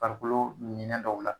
Farikolo minɛn dɔw la